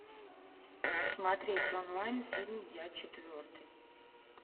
смотреть онлайн фильм я четвертый